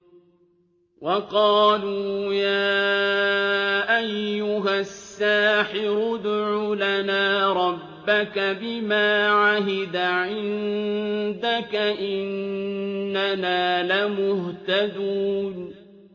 وَقَالُوا يَا أَيُّهَ السَّاحِرُ ادْعُ لَنَا رَبَّكَ بِمَا عَهِدَ عِندَكَ إِنَّنَا لَمُهْتَدُونَ